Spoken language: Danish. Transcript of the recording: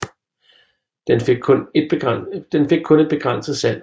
Den fik kun et begrænset salg